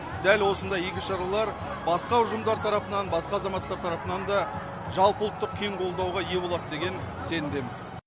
дәл осындай игі шаралар басқа ұжымдар тарапынан басқа азаматтар тарапынан да жалпыұлттық кең қолдауға ие болады деген сенімдеміз